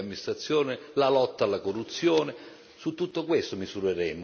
Su tutto questo misureremo la capacità di dare delle risposte.